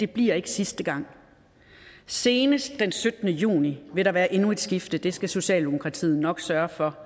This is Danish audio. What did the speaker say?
bliver sidste gang senest den syttende juni vil der være endnu et skift det skal socialdemokratiet nok sørge for